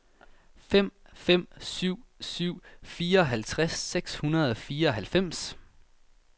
fem fem syv syv fireoghalvtreds seks hundrede og fireoghalvfems